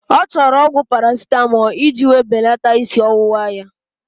Ọ chọrọ ọgwụ Parasitamọlụ iji wéé belata ísí ọwụwa ya